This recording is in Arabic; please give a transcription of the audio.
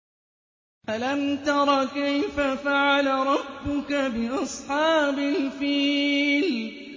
أَلَمْ تَرَ كَيْفَ فَعَلَ رَبُّكَ بِأَصْحَابِ الْفِيلِ